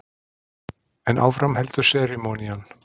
En áfram heldur serimónían.